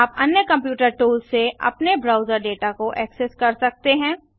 आप अन्य computer tools से अपने ब्राउजर डेटा को ऐक्सेस कर सकते हैं